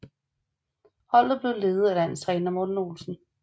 Holdet blev ledet af landstræner Morten Olsen